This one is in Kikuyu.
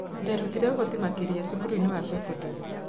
Nderutire ũhoti makĩria cukuruinĩ wa cekondarĩ